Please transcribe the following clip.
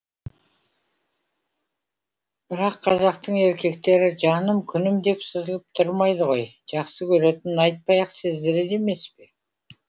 бірақ қазақтың еркектері жаным күнім деп сызылып тұрмайды ғой жақсы көретінін айтпай ақ сездіреді емес пе